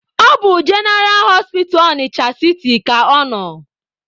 Ọ bụ jeneraa hospital Ọnịcha siti ka ọ nọ.